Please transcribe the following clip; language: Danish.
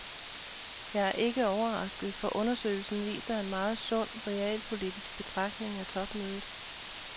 Jeg er ikke overrasket, for undersøgelsen viser en meget sund, realpolitisk betragtning af topmødet.